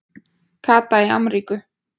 Kata í Ameríku